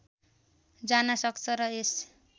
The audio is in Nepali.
जान सक्छ र यस